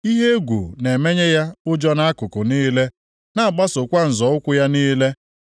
Ihe egwu na-emenye ya ụjọ nʼakụkụ niile, na-agbasokwa nzọ ụkwụ ya niile.